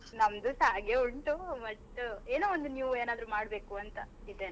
ನಮ್ದುಸಾ ಹಾಗೆ ಉಂಟು but ಏನೋ ಒಂದು new ಮಾಡ್ಬೇಕು ಅಂತ ಇದೇನೆ.